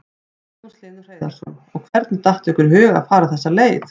Magnús Hlynur Hreiðarsson: Og hvernig datt ykkur í hug að fara þessa leið?